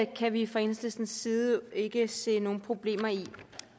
det kan vi fra enhedslistens side ikke se nogen problemer i